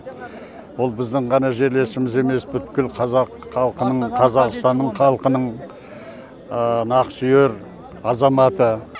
ол біздің ғана жерлесіміз емес бүткіл қазақ халқының қазақстанның халқының нақсүйер азаматы